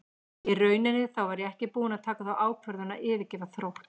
Í rauninni þá var ég ekki búinn að taka þá ákvörðun að yfirgefa Þrótt.